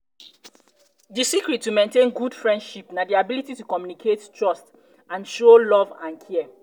di secret to maintain a good frienship na di ability to communicate trust and show love and care. and care.